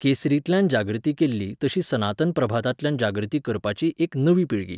केसरींतल्यान जागृती केल्ली तशी सनातन प्रभातांतल्यान जागृती करपाची एक नवी पिळगी